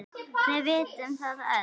Við vitum það öll.